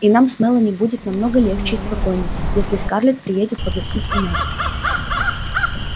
и нам с мелани будет много легче и спокойней если скарлетт приедет погостить у нас